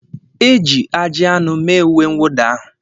E ji ajị anụ mee uwe nwụda ahụ